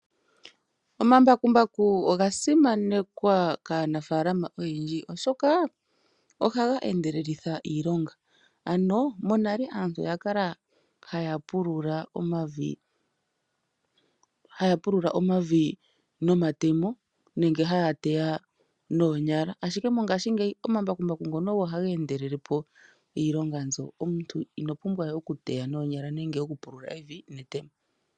Omambakumbaku oga simanekwa kaanafaala oyendji oshoka oha ga endelelitha iilonga. Monale aantu oya kala ha ya pulula omavi nomatemo nenge haya teya noonyala, ashike moongaashi ngeyi Omambakumbaku ngono ogo haga endelelepo iilonga mbyoka. Omuntu ino pumbwa we oku teya noonyala nenge okupula evi netemo.